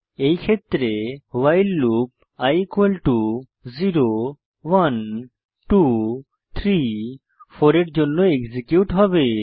এই ক্ষেত্রে while loop i 0 1 2 3 4 এর জন্য এক্সিকিউট হবে